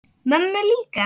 Mömmu líka?